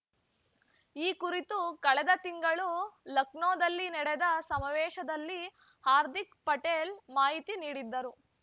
ಈ ಕುರಿತು ಕಳೆದ ತಿಂಗಳು ಲಕ್ನೋದಲ್ಲಿ ನಡೆದ ಸಮಾವೇಶದಲ್ಲಿ ಹಾರ್ದಿಕ್ ಪಟೇಲ್ ಮಾಹಿತಿ ನೀಡಿದ್ದರು